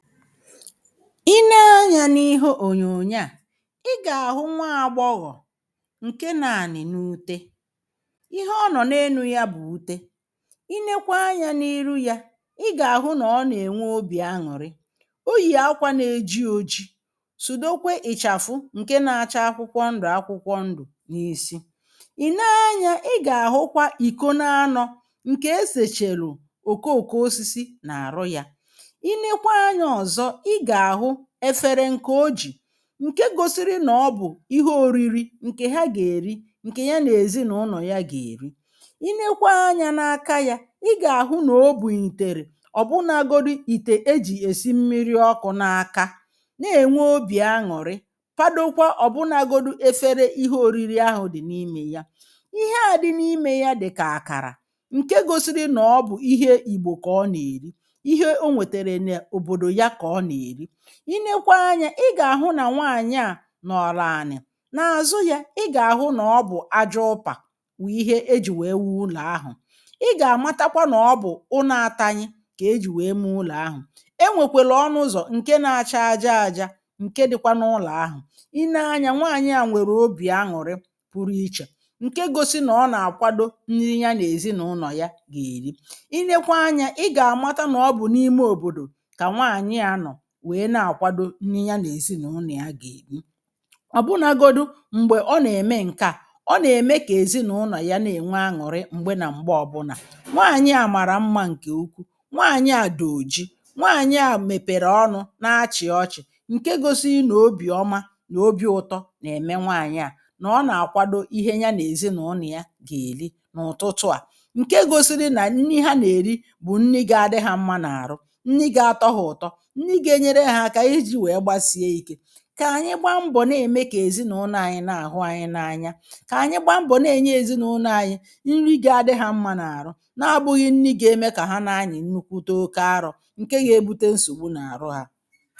I nee anya n’ihe ọ̀nyọ̀nyọ a i ga-ahụ nwa agbọghọ̀ nke no anị̀ na ụte ihe ọ nọ̀ n’enụ ya bụ̀ ụte i nekwa anya n’irụ ya i ga-ahụ na ọ na-enwe ọbì añụ̀rị ọ yì akwa na-eji ọji sụdọkwe ị̀chafụ nke na-acha akwụkwọ ndụ̀ akwụkwọ ndụ̀ n’isi.I nee anya, i ga-ahụkwa ìkọ na anọ̇ nke esechelù ọ̀kọ ọ̀kọ ọsisi na arụ ya. I nekwa anya ọzọ iga ahụ efere nke ọ jì nke gọsiri nọ̀ ọ bụ̀ ihe ọ̀riri nke ha ga-eri nke nyana ezinụnọ̀ ya ga-eri i nekwaa anya n’aka ya ị ga-ahụ nọ̀ ọ bù itere ọ̀bụnagọdi ìte ejì esi mmiri ọkụ̇ n’aka na-enwe ọbì añụ̀rị fadọkwa ọ̀bụnagọdụ efere ihe ọ̀riri ahụ̀ dị̀ n’imė ya ihe a dị n’imė ya dị̀ka akara nke gọsiri nọ̀ ọ bụ̀ ihe ìgbọ̀ ka ọ na-eri. Ihe ọ nwetara n'ọbọdọ ya ka ọ na eri. I nekwa anya ị ga-ahụ na nwaanyị a nọ̀rọ anị̇, n’azụ ya ị ga-ahụ nọ̀ ọ bụ̀ aja ụpa wụ̀ ihe ejì wee wụọ ụlọ̀ ahụ̀ ị ga-amatakwa nọ̀ ọ bụ̀ ụna atanyị ka ejì wee mụ ụlọ̀ ahụ̀ enwekwele ọnụ ụzọ̀ nke na-acha aja aja nke dị̇kwa n’ụlọ̀ ahụ̀ i nee anya nwaanyị a nwere ọbì añụ̀rị pụrụ iche nke gọsi nọ̀ọ na-akwadọ nni ya na-ezinụlọ̀ ya ga-eri i nekwa anya ị ga-amata nọ̀ ọ bụ̀ n’ime ọ̀bọ̀dọ̀ ka nwaanyị a nọ wee na akwadọ nni ya na-ezi na ụnọ̀ ya ga-eji ọ̀ bụnagọdụ m̀gbe ọ na-eme nke a ọ na-eme ka ezinaụnọ̀ ya na-enwe aṅụ̀rị m̀gbe na m̀gbe ọbụna nwaanyị a mara mma nke ụkwụ nwaanyị a di ojii nwaanyị a mepere ọnụ̇ n’achị̀ ọchị̀ nke gọsi na ọbì ọma na ọbi ụtọ na-eme nwaanyị a na ọ na-akwadọ ihe ya na-ezi na ụnọ̀ ya ga-eri n’ụ̀tụtụ a nke gȯsi̇ri̇ na nni ha na-eri bụ̀ nni ga-adị ha mma n’arụ, nni ga atọ ha utọ, nni ka enyere ha aka iji wee gbasie ike. Ka anyị gbaa mbọ̀ na-eme ka ezinụlọ̀ anyị̇ na-ahụ anyị̇ n’anya ka anyị gbaa mbọ̀ na-enye ezinụlọ̇ anyị̇ nri gị̇ adị̇ ha mma n’arụ na-abụ̇ghị nri ga-eme ka ha n’anyị̇ nnụkwụ taa ọke arọ̇ nke ga-ebụte nsọ̀gbụ n’arụ ha